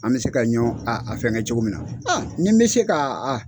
An bɛ se ka ɲɔn a a fɛnkɛ cogo min na nin bɛ se ka